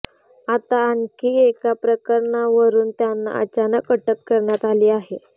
आता आणखी एका प्रकरणावरून त्यांना अचानक अटक करण्यात आली आहे